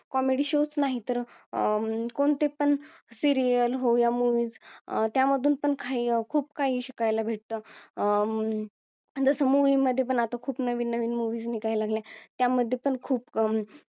comedy shows नाहीतर अं कोणते पण serial हो या movies त्यामधून पण काही खूप काही शिकायला भेटत अं जसं movie मध्ये पण आता खूप नवीन नवीन movies निघायलागल्या त्या मध्ये पण खूप अं